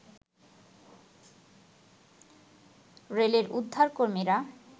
রেলের উদ্ধারকর্মীরা